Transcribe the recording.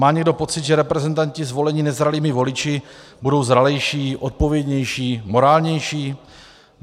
Má někdo pocit, že reprezentanti zvolení nezralými voliči budou zralejší, odpovědnější, morálnější?